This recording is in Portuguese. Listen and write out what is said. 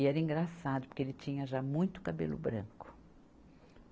E era engraçado, porque ele tinha já muito cabelo branco.